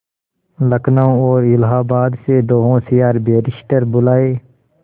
लखनऊ और इलाहाबाद से दो होशियार बैरिस्टिर बुलाये